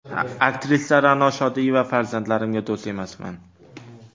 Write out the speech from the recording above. Aktrisa Ra’no Shodiyeva: Farzandlarimga do‘st emasman.